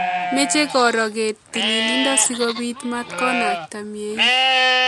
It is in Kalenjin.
Meche koro keet tililido sikobit matakonakta mnyeni